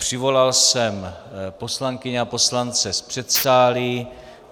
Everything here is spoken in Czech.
Přivolal jsem poslankyně a poslance z předsálí.